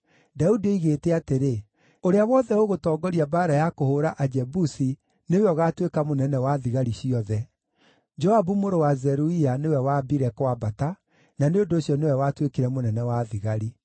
Daudi oigĩte atĩrĩ, “Ũrĩa wothe ũgũtongoria mbaara ya kũhũũra Ajebusi nĩwe ũgaatuĩka mũnene wa thigari ciothe.” Joabu mũrũ wa Zeruia nĩwe waambire kwambata, na nĩ ũndũ ũcio nĩwe watuĩkire mũnene wa thigari.